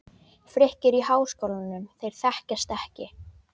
Frikki er í Háskólanum, þeir þekkjast ekki.